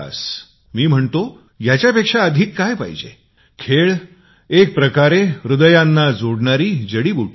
मी समजतो याच्या पेक्षा अधिक काय पाहिजे खेळ एक प्रकारे हृदयाला जोडणारी जडीबुटी आहे